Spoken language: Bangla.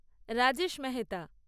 রাজেশ মেহেতা